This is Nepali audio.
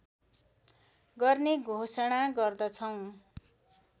गर्ने घोषणा गर्दछौँ